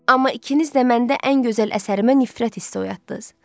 Amma ikiniz də məndə ən gözəl əsərimə nifrət hissi oyatdınız.